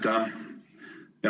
Tänan!